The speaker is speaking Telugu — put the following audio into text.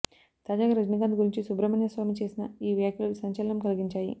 తాజాగా రజనీకాంత్ గురించి సుబ్రహ్మణ్య స్వామి చేసిన ఈ వ్యాఖ్యలు సంచలనం కలిగించాయి